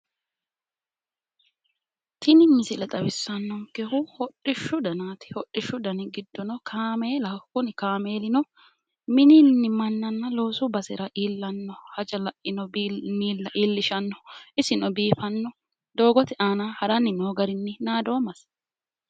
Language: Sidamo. tini misile xawisannonkehu hodhishshu danaati hodhishu danni giddonnino kaameelaho kuni kaameelino minini mannanna loosu basera iillishanno haja laino bissa iillishshanno isino biifanno doogote aana haranni noo garinni naadoommasi.